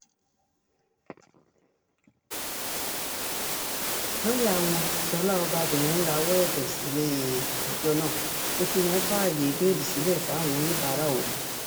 lọ́ọ́yà wọn ṣọlá ọbabìnrin rawọ́ ẹ̀bẹ̀ sílẹ̀-ẹjọ́ náà pé kí wọ́n fààyè béèlì sílẹ̀ fáwọn oníbàárà òun